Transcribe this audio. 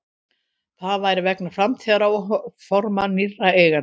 Það væri vegna framtíðaráforma nýrra eigenda